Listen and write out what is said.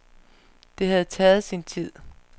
Det havde taget sin tid.